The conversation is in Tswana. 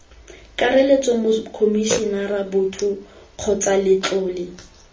kakaretso mokomisinara boto kgotsa letlole